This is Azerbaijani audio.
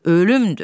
Ölümdür.